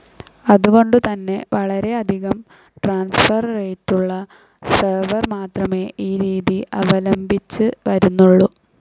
അതുകൊണ്ട് തന്നെ വളരെയധികം ട്രാൻസ്ഫർ റേറ്റുള്ള സെർവർ മാത്രമേ ഈ രീതി അവലംബിച്ച് വരുന്നുള്ളൂ.